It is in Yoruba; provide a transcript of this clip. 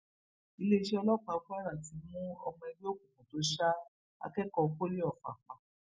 iléeṣẹ ọlọpàá kwara ti mú ọmọ ẹgbẹ òkùnkùn tó ṣa akẹkọọ poli ọfà pa